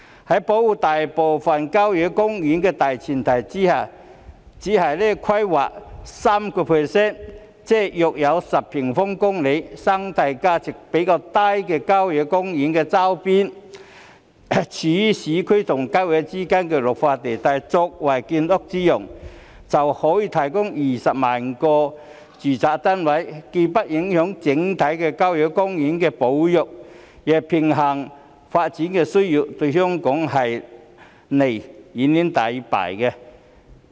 在保護大部分郊野公園的大前提下，只是規劃當中 3%， 即約10平方公里生態價值較低的郊野公園周邊、位處市區和郊野公園之間綠化地帶作為建屋之用，可以提供20萬個住宅單位，既不影響整體郊野公園的保育，亦平衡發展的需要，對香港是利遠遠大於弊。